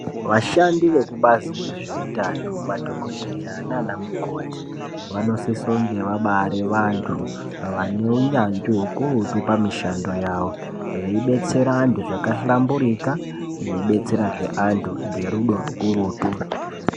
Vashandi vekubazi rezveutano madhokodheya nanamukoti vanosisa kunge vabaari vanhu vaneunyanzvi ukurutu pamishando yavo veibetsera vanhu zvakahlamburuka veibetserazve anhu nerudo rukurutu.